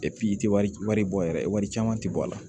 i tɛ wari bɔ yɛrɛ wari caman tɛ bɔ a la